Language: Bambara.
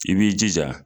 I b'i jija